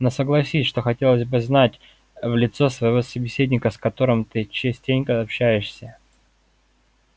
но согласись что хотелось бы знать в лицо своего собеседника с которым ты частенько общаешься